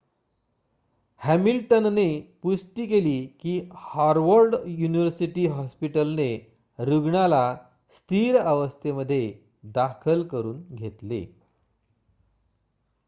हॅमिल्टनने पुष्टि केली की हॉवर्ड युनिवर्सिटी हॉस्पिटलने रुग्णाला स्थिर अवस्थेमध्ये दाखल करुन घेतले